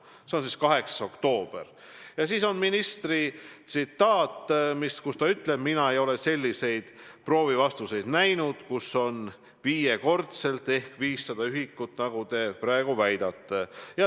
See oli 8. oktoobri saade, kus minister ütles nii: "Mina ei ole selliseid proovi vastuseid näinud, kus on viiekordselt ehk 500 ühikut, nagu te praegu väidate.